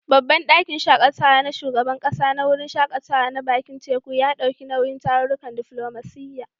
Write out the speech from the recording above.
Babban ɗakin shaƙatawa na shugaban ƙasa na wurin shaƙatawa na bakin teku, ya ɗauki nauyin tarurrukan diflomasiyya.